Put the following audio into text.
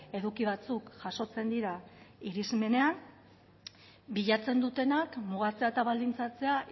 eduki batzuk jasotzen dira irismenean bilatzen dutenak mugatzea eta baldintzatzea